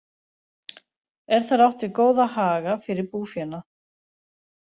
Er þar átt við góða haga fyrir búfénað.